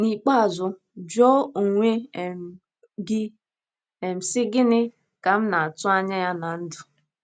N’ikpeazụ, jụọ onwe um gị um, sị: Gịnị um ka m na - atụ anya ya ná ndụ?